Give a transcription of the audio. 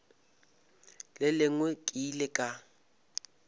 le lengwe ke ile ka